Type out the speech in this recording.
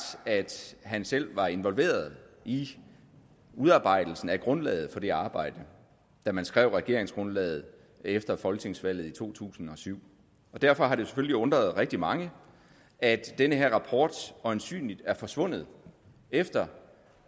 at han selv var involveret i udarbejdelsen af grundlaget for det arbejde da man skrev regeringsgrundlaget efter folketingsvalget i to tusind og syv derfor har det selvfølgelig undret rigtig mange at den her rapport øjensynligt er forsvundet efter